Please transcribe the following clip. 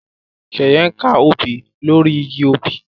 Sheye nká òbí lori ìgi òbí